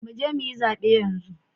Mu je mu yi zabe yanzu!